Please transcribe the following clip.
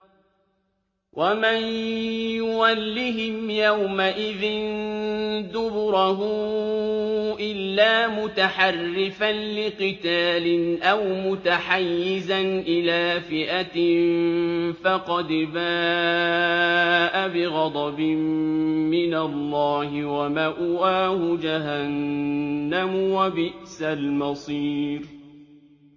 وَمَن يُوَلِّهِمْ يَوْمَئِذٍ دُبُرَهُ إِلَّا مُتَحَرِّفًا لِّقِتَالٍ أَوْ مُتَحَيِّزًا إِلَىٰ فِئَةٍ فَقَدْ بَاءَ بِغَضَبٍ مِّنَ اللَّهِ وَمَأْوَاهُ جَهَنَّمُ ۖ وَبِئْسَ الْمَصِيرُ